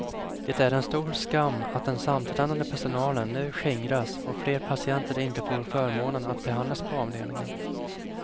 Det är stor skam att den samtränade personlen nu skingras och fler patienter inte får förmånen att behandlas på avdelningen.